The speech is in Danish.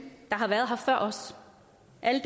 at